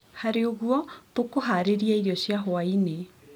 Harĩ ũguo, tũkũharĩria irio cia hwainĩ,